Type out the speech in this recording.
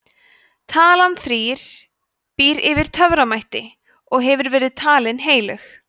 talan þrír býr yfir töframætti og hefur verið talin heilög